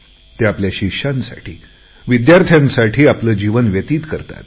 ते आपल्या शिष्यांसाठी विद्यार्थ्यांसाठी आपले आयुष्य वेचतात